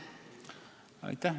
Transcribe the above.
Aitäh!